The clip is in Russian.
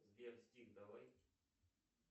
сбер стих давай